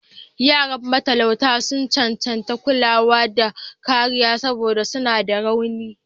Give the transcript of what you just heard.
Yaran matalauta sun cancanci kulawa da kariya saboda suna da rauni.